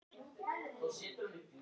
Já, ég held hún verði spennandi þessi.